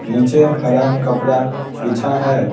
नीचे हरा कपड़ा बिछा है ।